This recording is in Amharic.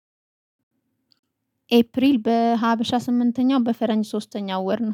ኤፕሪል በሀበሻ ስምንተኛው በፈረንጅ ሶስተኛው ወር ነው